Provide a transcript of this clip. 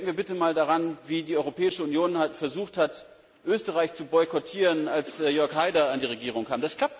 Denken wir bitte einmal daran, wie die Europäische Union versucht hat, Österreich zu boykottieren, als Jörg Haider an die Regierung kam.